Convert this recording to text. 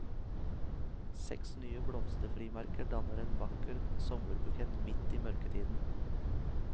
Seks nye blomsterfrimerker danner en vakker sommerbukett midt i mørketiden.